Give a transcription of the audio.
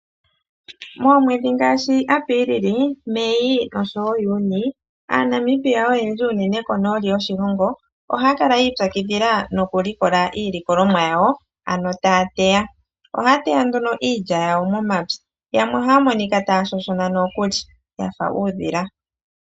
Moomwedhi ngaashi Apiilili, Mei nosho woo Juni, aaNamibia oyendji unene konooli yoshilongo ohaya kala yi ipyakidhila nokulikokola iilikolomwa yawo ano taya teya. Ohaya teya nduno iilya yawo momapya, yamwe ohaya monika taya shoshona nokuli ya fa uudhila.